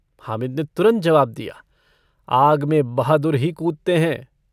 हामिद ने तुरन्त जवाब दिया - आग में बहादुर ही कूदते हैं।